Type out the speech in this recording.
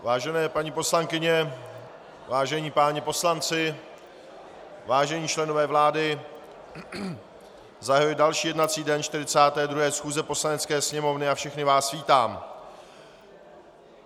Vážené paní poslankyně, vážení páni poslanci, vážení členové vlády, zahajuji další jednací den 42. schůze Poslanecké sněmovny a všechny vás vítám.